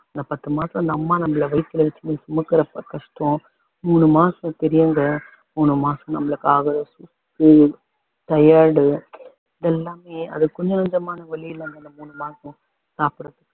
இந்த பத்து மாசம் அந்த அம்மா நம்மள வயித்துல வச்சுன்னு சுமக்கிறப்போ கஷ்டம் மூணு மாசம் பெரியவங்க மூணு மாசம் நம்மளுக்காக உம் எல்லாமே அது கொஞ்சம் நெஞ்சமான வலி இல்லங்க அந்த மூணு மாசம் சாப்புடறதுக்கு